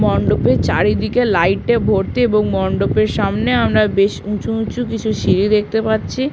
মন্ডপের চারিদিকে লাইট -এ ভর্তি এবং মন্ডপের সামনে আমরা বেশ উঁচু উঁচু কিছু সিঁড়ি দেখতে পাচ্ছি।